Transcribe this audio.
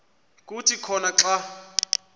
kuthi khona xa